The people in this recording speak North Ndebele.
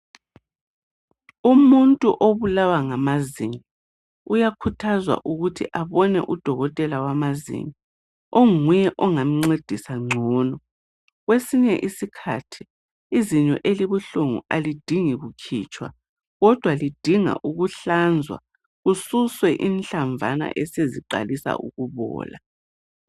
Umuntu obulawa ngamazinyo uyakhuthazwa ukuthi abone udokotela wamazinyo onguye ongamncedisa ngcono. Kwesinye iskhathi izinyo elibuhlungu alidingi kukhitshwa kodwa lidinga ukuhlanzwa kususwe inhlamvana eseziqalisa ukubola.